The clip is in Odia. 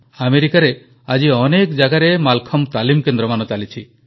ଆମେରିକାରେ ଆଜି ଅନେକ ଜାଗାରେ ମାଲଖମ୍ବ ତାଲିମ କେନ୍ଦ୍ରମାନ ଚାଲିଛି